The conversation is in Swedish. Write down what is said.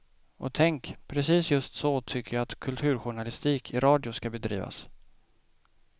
Och tänk, precis just så, tycker jag kulturjournalistik i radio skall bedrivas.